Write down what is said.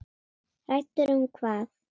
Hræddur um hvað?